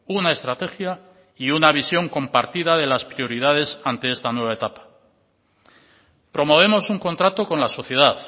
una estrategia y una visión compartida de las prioridades ante esta nueva etapa promovemos un contrato con la sociedad